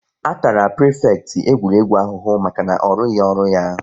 A tara prifekịtị egwuregwu ahụhụ maka na ọ rụghị ọrụ ya